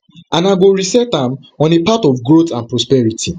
and i go reset am on a part of growth and prosperity